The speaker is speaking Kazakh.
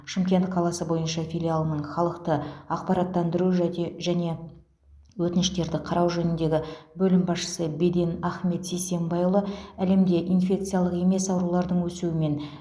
шымкент қаласы бойынша филиалының халықты ақпараттандыру жәте және өтініштерді қарау жөніндегі бөлім басшысы беден ахмет сисенбайұлы әлемде инфекциялық емес аурулардың өсуімен